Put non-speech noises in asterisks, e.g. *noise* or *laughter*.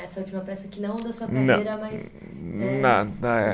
Essa última peça que não da sua carreira, mas é. *unintelligible*